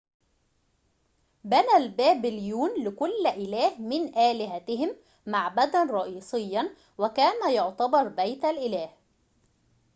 بنى البابليون لكل إله من آلهتهم معبداً رئيسياً وكان يُعتبر بيت الإله